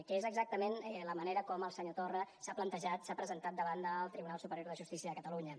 que és exactament la manera com el senyor torra s’ha presentat davant del tribunal superior de justícia de catalunya